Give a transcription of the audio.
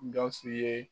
Gawusu ye